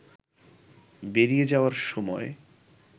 বেরিয়ে যাওয়ার সময়